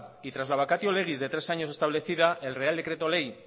y tras la vacatio legis de tres años establecida el real decreto ley